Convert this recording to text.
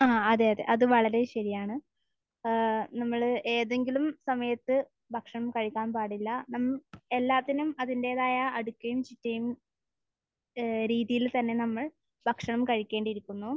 ആഹ്. അതെ. അതെ. അത് വളരെ ശരിയാണ്. ഏഹ് നമ്മൾ ഏതെങ്കിലും സമയത്ത് ഭക്ഷണം കഴിക്കാൻ പാടില്ല. മ്മ്മ് എല്ലാത്തിനും അതിന്റേതായ അടുക്കും ചിട്ടയും ഏഹ് രീതിയിൽ തന്നെ നമ്മൾ ഭക്ഷണം കഴിക്കേണ്ടിയിരിക്കുന്നു.